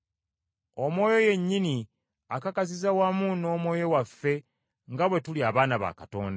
Omwoyo yennyini akakasiza wamu n’omwoyo waffe nga bwe tuli abaana ba Katonda.